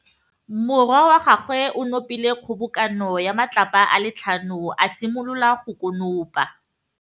Morwa wa gagwe o nopile kgobokanô ya matlapa a le tlhano, a simolola go konopa.